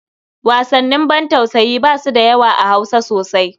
Wasannin bantausayi ba su da yawa a Hausa sosai.